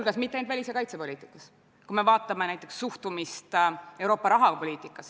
Aga demokraatlikult asjadele lähenedes on võimalik esitada küsimusi, saada vastuseid ja lõpuks demokraatlikult hääletades panna asjad lõplikult paika.